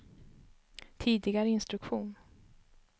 tidigare instruktion